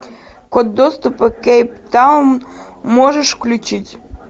код доступа кейптаун можешь включить